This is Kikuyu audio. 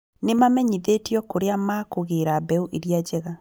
Nĩ mamenyithĩtio kurĩa makũgĩra mbeũ iria njega